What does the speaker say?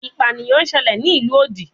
Ipaniyan ṣẹlẹ ni ilu odi